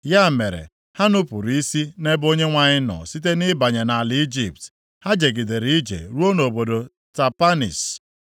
Ya mere, ha nupuru isi nʼebe Onyenwe anyị nọ site nʼịbanye ala Ijipt. Ha jegidere ije ruo nʼobodo Tapanhis.